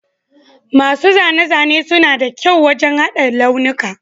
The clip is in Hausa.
Masu zane-zane suna da kyau wajen haɗa launuka